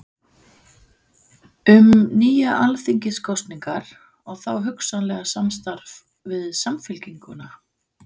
Um nýjar alþingiskosningar og þá hugsanlega samstarf við Samfylkinguna?